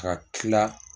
Ka tila